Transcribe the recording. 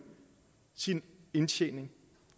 sin indtjening